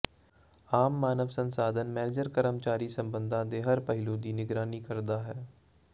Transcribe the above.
ਆਮ ਮਾਨਵ ਸੰਸਾਧਨ ਮੈਨੇਜਰ ਕਰਮਚਾਰੀ ਸੰਬੰਧਾਂ ਦੇ ਹਰ ਪਹਿਲੂ ਦੀ ਨਿਗਰਾਨੀ ਕਰਦਾ ਹੈ